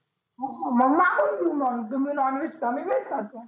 म म्हटलं घेऊ मग. तुम्ही नॉनव्हेज खा मी व्हेज खातो.